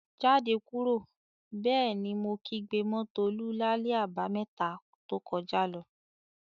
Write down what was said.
"Jáde kúrò!" Bẹ́ẹ̀ ni mo kígbe mọ́ Tolú lálẹ́ Àbàmẹ́ta to kọjá lọ.